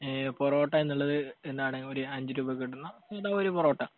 ഈ പൊറോട്ട എന്നുള്ളത് എന്താണ്, ഒരു അഞ്ചുരൂപയ്ക്കു കിട്ടുന്ന സാദാ ഒരു പൊറോട്ട.